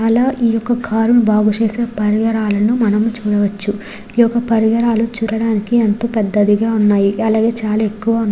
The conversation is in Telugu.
అలా ఈ కార్ ను బాగు చేసే పరికరాలను మనము చూడవచ్చు ఈ యొక్క పరికరాలు చూడడానికి ఎంతో పెద్ధవిగా ఉన్నాయి అలాగే చాలా ఎక్కువ ఉన్నాయి.